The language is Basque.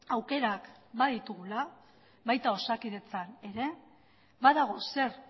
aukerak baditugula baita osakidetzan ere badago zer